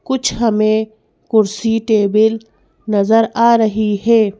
कुछ हमें कुर्सी टेबल नज़र आ रही है।